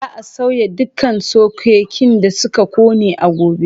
Za a sauya dukkan sokekin da suka ƙone a gobe.